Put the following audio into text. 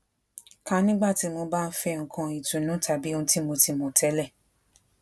ka nígbà tí mo bá fé nnkan itùnu tàbí ohun ti mo ti mo tele